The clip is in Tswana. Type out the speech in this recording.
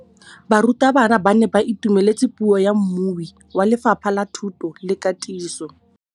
Barutabana ba ne ba itumeletse puô ya mmui wa Lefapha la Thuto le Katiso.